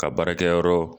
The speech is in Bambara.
Ka baarakɛyɔrɔ